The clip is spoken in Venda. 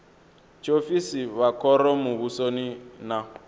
tshiofisi vha khoro muvhusoni na